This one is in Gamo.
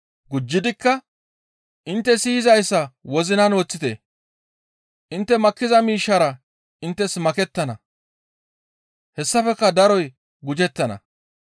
Gujjidikka, «Intte siyizayssa wozinan woththite; intte makkiza miishshara inttes makettana; hessafekka daroy gujettana.